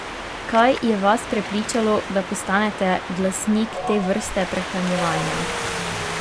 Kaj je vas prepričalo, da postanete glasnik te vrste prehranjevanja?